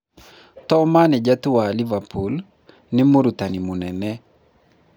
To manĩja tu wa Liverpool, nĩ mũrutani mũnene